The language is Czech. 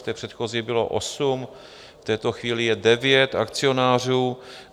V té předchozí bylo osm, v této chvíli je devět akcionářů.